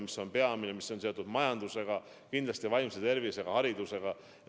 See on peamine ja see on seotud ka majandusega, samuti kindlasti vaimse tervise ja haridusega.